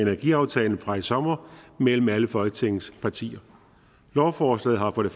energiaftalen fra i sommer mellem alle folketingets partier lovforslaget har for det